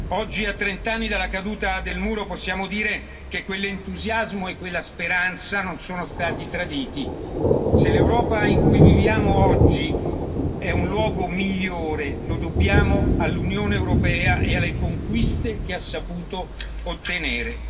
Oggi, a trent'anni dalla caduta del Muro, possiamo dire che quell'entusiasmo e quella speranza non sono stati traditi se l'Europa in cui viviamo oggi è un luogo migliore lo dobbiamo all'Unione europea e alle conquiste che ha saputo ottenere.